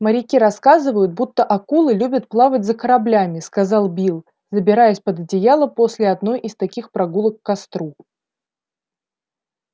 моряки рассказывают будто акулы любят плавать за кораблями сказал билл забираясь под одеяло после одной из таких прогулок к костру